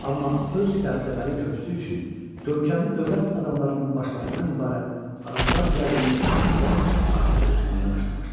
Amma öz dəbdəbəli körpüsü üçün görkəmli dövlət adamlarının başlarından ibarət ağacdan düzəldilmiş bəzəklər artıq tökülməyə başlamışdı.